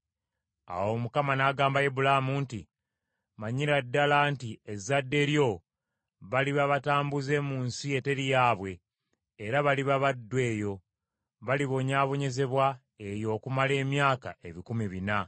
Awo Mukama n’agamba Ibulaamu nti, “Manyira ddala nti ezzadde lyo baliba batambuze mu nsi eteri yaabwe, era baliba baddu eyo, balibonyaabonyezebwa eyo okumala emyaka ebikumi bina.